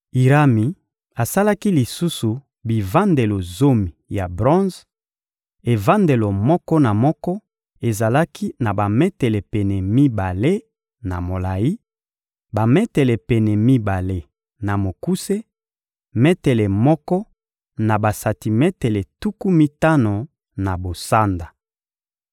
Irami asalaki lisusu bivandelo zomi ya bronze: evandelo moko na moko ezalaki na bametele pene mibale na molayi, bametele pene mibale na mokuse, metele moko na basantimetele tuku mitano na bosanda.